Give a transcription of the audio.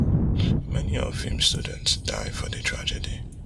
many of im students die for di tragedy